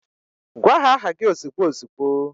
Gwa ha aha gi ozigbo ozigbo